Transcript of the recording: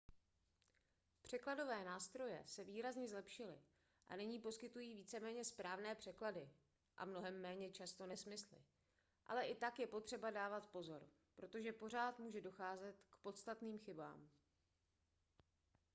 překladové nástroje se výrazně zlepšily a nyní poskytují víceméně správné překlady a mnohem méně často nesmysly ale i tak je potřeba dávat pozor protože pořád může docházet k podstatným chybám